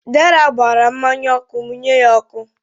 Deraa gbaara mmanya ọkụ, mụnye ya ọkụ.